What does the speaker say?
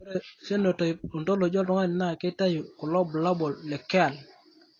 Ore Phenotype Ontology oltung'ani naa keitayu kulo bulabol le Kyrle.